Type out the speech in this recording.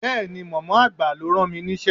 Bẹ́ẹ̀ni, mọ̀mọ́ àgbà ló rán mi níṣẹ́.